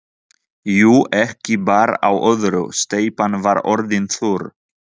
Jú, ekki bar á öðru, steypan var orðin þurr.